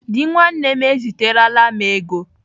Dị nwanne m eziterela m ego.